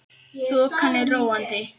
Þokan er róandi